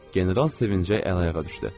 General sevincək əl-ayağa düşdü.